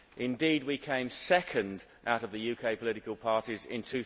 Indeed, we came second out of the UK political parties in